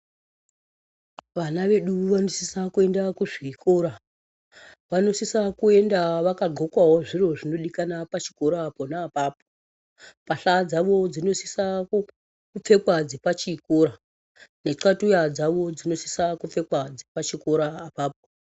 Vana vedu vanosisa kuenda kuzvikora vanosisa kuenda vakandloka zviro zvinodiwa pachikora pona apapo pahla dzavo dzinosisa kupfekwa dzepachikora thatuya dzinosisa kita dzepachikora apapo.